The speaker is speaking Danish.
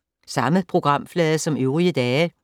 Samme programflade som øvrige dage